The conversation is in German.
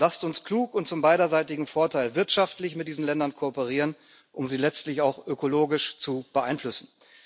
Lasst uns klug und zum beiderseitigen Vorteil wirtschaftlich mit diesen Ländern kooperieren, um sie letztlich auch ökologisch zu beeinflussen.